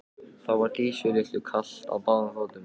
Þá var Dísu litlu kalt á báðum fótum.